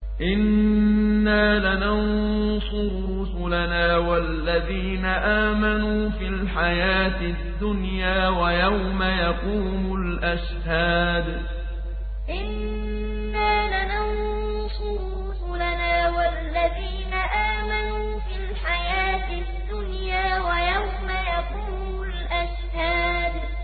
إِنَّا لَنَنصُرُ رُسُلَنَا وَالَّذِينَ آمَنُوا فِي الْحَيَاةِ الدُّنْيَا وَيَوْمَ يَقُومُ الْأَشْهَادُ إِنَّا لَنَنصُرُ رُسُلَنَا وَالَّذِينَ آمَنُوا فِي الْحَيَاةِ الدُّنْيَا وَيَوْمَ يَقُومُ الْأَشْهَادُ